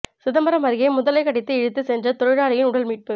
சிதம்பரம் அருகே முதலை கடித்து இழுத்து சென்ற தொழிலாளியின் உடல் மீட்பு